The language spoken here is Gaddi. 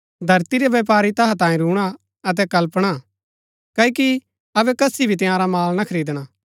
धरती रै व्यपारी तैहा तांयें रूणा अतै कलपणा क्ओकि अबै कसी भी तंयारा माल ना खरीदणा